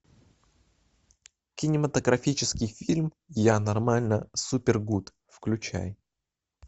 кинематографический фильм я нормально супер гуд включай